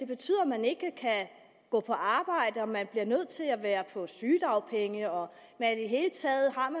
betyder at man ikke kan gå på arbejde at man er nødt til at være på sygedagpenge og